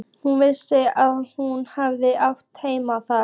Hún vissi að hún hafði átt heima þar.